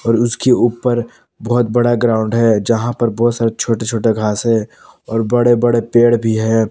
और उसके ऊपर बहोत बड़ा ग्राउंड है जहां पर बहोत सारे छोटे छोटे घास है और बड़े बड़े पेड़ भी है।